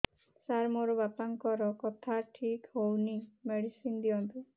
ସାର ମୋର ବାପାଙ୍କର କଥା ଠିକ ହଉନି ମେଡିସିନ ଦିଅନ୍ତୁ